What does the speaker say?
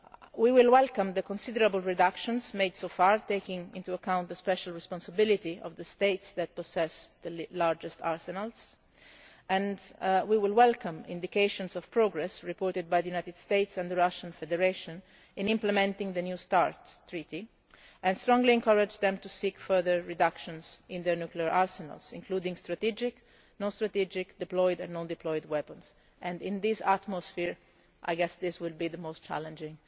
We will welcome the considerable reductions made so far, taking into account the special responsibility of the states that possess the largest arsenals, and we will welcome indications of progress reported by the United States and the Russian Federation in implementing the new START Treaty and strongly encourage them to seek further reductions in their nuclear arsenals, including strategic, non strategic, deployed and non deployed weapons, and in this atmosphere I guess this will be the most challenging